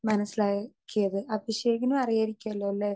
Speaker 2 മനസ്സിലാക്കിയത്. അഭിഷേകിനും അറിയുമായിരിക്കല്ലോ ല്ലേ?